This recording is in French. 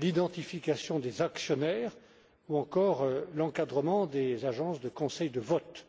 l'identification des actionnaires ou encore l'encadrement des agences de conseil de vote.